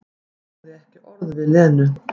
Sagði ekki orð við Lenu.